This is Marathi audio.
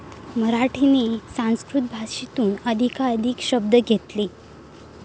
मराठीने संस्कृत भाषेतून अधिकाधिक शब्द घेतले.